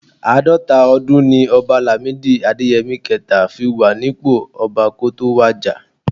Àádọ́ta ọdún ni ọba Làmídì Adéyẹmi kẹẹ̀ta fi wà nípò ọba kó tó wàjà